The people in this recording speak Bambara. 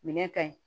Minɛn ka ɲi